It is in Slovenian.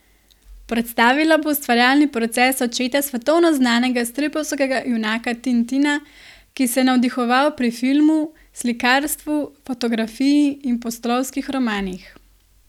Predstavila bo ustvarjalni proces očeta svetovno znanega stripovskega junaka Tintina, ki se je navdihoval pri filmu, slikarstvu, fotografiji in pustolovskih romanih.